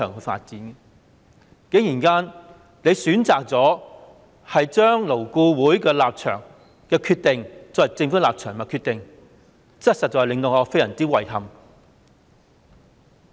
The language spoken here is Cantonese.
局長竟然選擇將勞顧會的立場和決定，作為政府的立場和決定，實在令我非常遺憾。